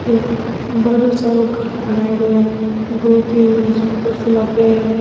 एक बड़ो सारों घर बनायेडो है दो तीन मंज़िल को सो लाग है।